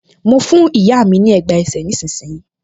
Mo fún ìyá mi ní ẹ̀gbá ẹsẹ̀ nísinsìnyí